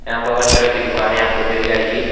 यहाँ पर हर तरह की दुकाने आपको मिल जाएगी।